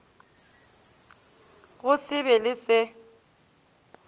go se be le se